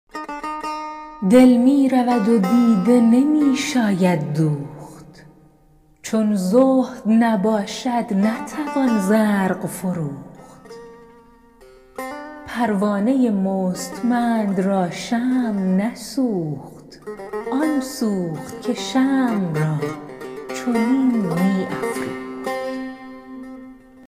دل می رود و دیده نمی شاید دوخت چون زهد نباشد نتوان زرق فروخت پروانه مستمند را شمع نسوخت آن سوخت که شمع را چنین می افروخت